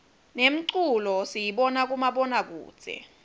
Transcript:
nemculo siyibona kumabona kudze